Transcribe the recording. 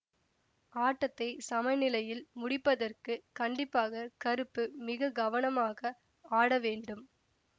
ஆட்டத்தை சமநிலையில் முடிப்பதற்கு கண்டிப்பாக கருப்பு மிக கவனமாக ஆடவேண்டும்